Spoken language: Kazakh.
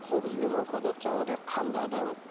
қобызбен оқыдық жаңағыдай қандадым